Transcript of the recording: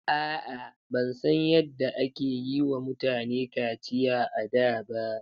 A'a, ban san yadda ake yiwa mutane kaciya a da ba.